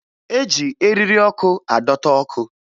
E ji eriri ọkụ adọta ọkụ